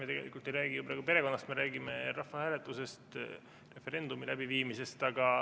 Me tegelikult ei räägi ju praegu perekonnast, me räägime rahvahääletusest, referendumi läbiviimisest.